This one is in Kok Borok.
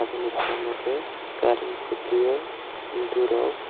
abo ni samo kei kurent kuti o indu rwkh.